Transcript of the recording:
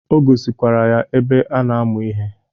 O gosikwara ya ebe a na-amụ ihe.